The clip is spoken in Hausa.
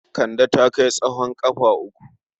Kande ta kai tsowon ƙafa uku.